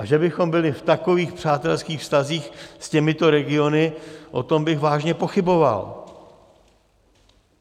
A že bychom byli v takových přátelských vztazích s těmito regiony, o tom bych vážně pochyboval.